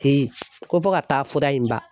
ko fɔ ka taa fura in ban.